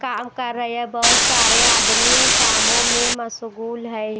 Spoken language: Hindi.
काम कर रहे है बहोत सारे आदमी कामों में मशहूल है।